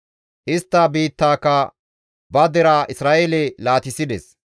Istta biittaaka ba deraa Isra7eele laatissides.